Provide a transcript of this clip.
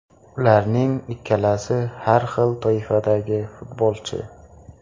Ularning ikkalasi har xil toifadagi futbolchi.